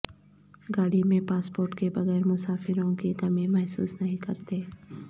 گاڑی میں پاسپورٹ کے بغیر مسافروں کی کمی محسوس نہیں کرتے